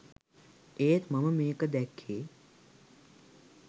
ඒත් මම මේක දැක්කේ